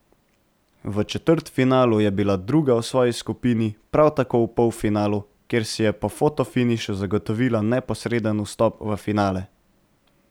V četrtfinalu je bila druga v svoji skupini, prav tako v polfinalu, kjer si je po fotofinišu zagotovila neposreden vstop v finale.